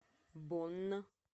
бонн